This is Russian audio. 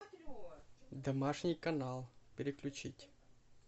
домашний канал переключить